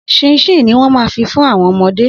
Sinsini ni wọ́n ma fi fún àwọn ọmọdé